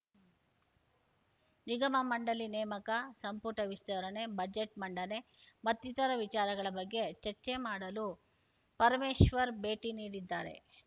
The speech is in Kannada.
ನಿಗಮಮಂಡಳಿ ನೇಮಕ ಸಂಪುಟ ವಿಸ್ತರಣೆ ಬಜೆಟ್‌ ಮಂಡನೆ ಮತ್ತಿತರ ವಿಚಾರಗಳ ಬಗ್ಗೆ ಚರ್ಚೆ ಮಾಡಲು ಪರಮೇಶ್ವರ್‌ ಭೇಟಿ ನೀಡಿದ್ದಾರೆ